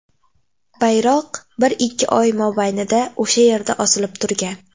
Bayroq bir-ikki oy mobaynida o‘sha yerda osilib turgan.